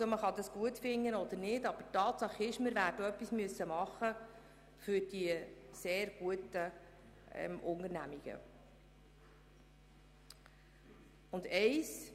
Man kann sagen, was man will, aber Tatsache ist, dass wir etwas für die sehr guten Unternehmungen machen müssen.